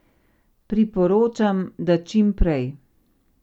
Priporočam, da čim prej.